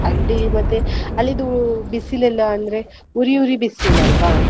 ಅಲ್ಲಿ ಮತ್ತೆ ಅಲ್ಲಿದು ಬಿಸಿಲೆಲ್ಲಾ ಅಂದ್ರೆ ಉರಿ ಉರಿ ಬಿಸಿಲಲ್ವ